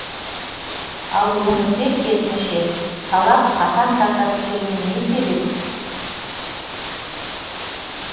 ал өңірде керсінше талап қатаң тарта түскеніне не себеп